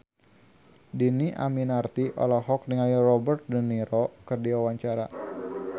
Dhini Aminarti olohok ningali Robert de Niro keur diwawancara